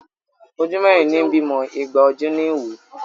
Ojú mẹ́rin ní bímọ, igba ojú ní wò.